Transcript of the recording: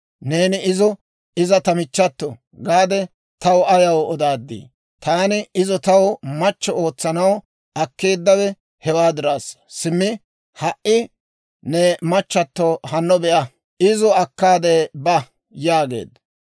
Neeni izo, ‹Iza ta michchato› gaade taw ayaw odaaddii? Taani izo taw machche ootsanaw akkeeddawe hewaa diraassa. Simmi ha"i ne machchatto hanno be'a; izo akkaade ba» yaageedda.